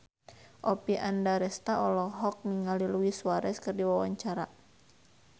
Oppie Andaresta olohok ningali Luis Suarez keur diwawancara